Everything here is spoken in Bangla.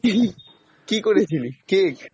কি করেছিলি cake?